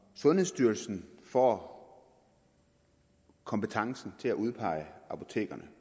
sundhedsstyrelsen får kompetencen til at udpege apotekerne